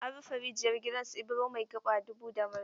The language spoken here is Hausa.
An rufe rijiyar gidan su Ibro mai gaba dubu da murfi.